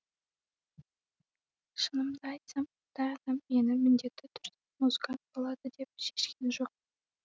шынымды айтсам ата анам мені міндетті түрде музыкант болады деп шешкен жоқ